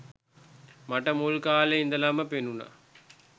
මට මුල් කාලෙ ඉඳන්ම පෙනුනා